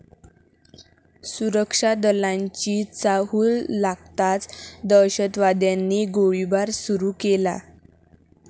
सुरक्षा दलांची चाहूल लागताच दहशतवाद्यांनी गोळीबार सुरू केला.